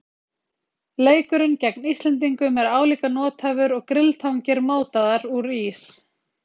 Leikurinn gegn Íslendingum er álíka nothæfur og grilltangir mótaðar úr ís.